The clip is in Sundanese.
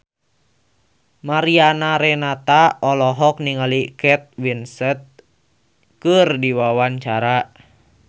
Mariana Renata olohok ningali Kate Winslet keur diwawancara